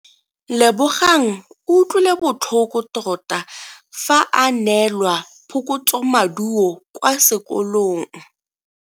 Lebogang o utlwile botlhoko tota fa a neelwa phokotsomaduo kwa sekolong.